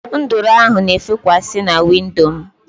Nduru ahụ na efekwa si na windo mụ